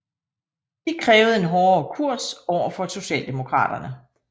De krævede en hårdere kurs overfor socialdemokraterne